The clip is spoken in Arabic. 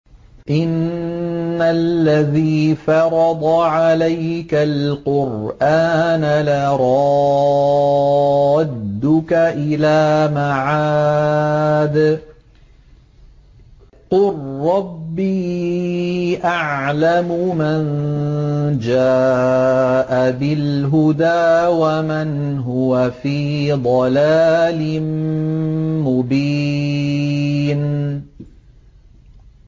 إِنَّ الَّذِي فَرَضَ عَلَيْكَ الْقُرْآنَ لَرَادُّكَ إِلَىٰ مَعَادٍ ۚ قُل رَّبِّي أَعْلَمُ مَن جَاءَ بِالْهُدَىٰ وَمَنْ هُوَ فِي ضَلَالٍ مُّبِينٍ